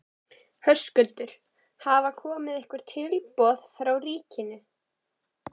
Höskuldur: Hafa komið einhver tilboð frá ríkinu?